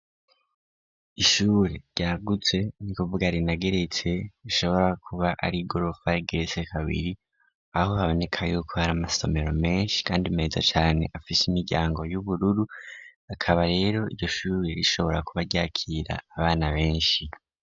Ishure ryaguze ni kuvuga rinageretse rishobora kuba ari i gorofay geretse kabiri aho haboneka yuko hari amasomero menshi, kandi meza cane afishe imiryango y'ubururu akaba rero irishure rishobora kuba ryakira abana benshi.